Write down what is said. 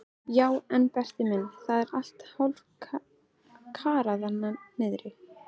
Já en Berti minn, það er allt hálfkarað niðri.